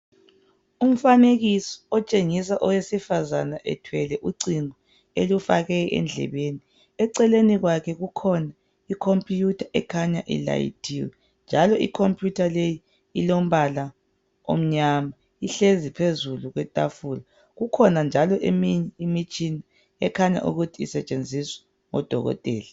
Umfanekiso otshengisa owesifazana ethwele ucingo ,elufake endlebeni, eceleni kwakhe kukhona icomputha ekhanya ilayithiwe njalo icomputha leyi ilombala omnyama ihlezi phezu kwetafula ,kukhona njalo eminye imitshina ekhanya ukuthi isetshenziswa ngodokotela.